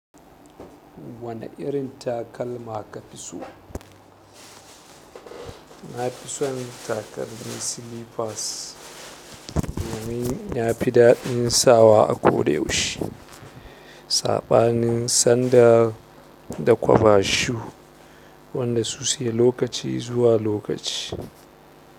Wane irin takalma ka fi so? Na fi son takalmi silipas domin ya fi daddin sawa a ko da yaushe saɓanin sandal da koba shu wanda su se lokaci zuwa lokaci.